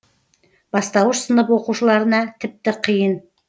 бастауыш сынып оқушыларына тіпті қиын